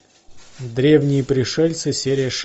древние пришельцы серия шесть